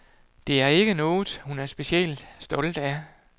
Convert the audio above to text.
Det er ikke noget, hun er specielt stolt af.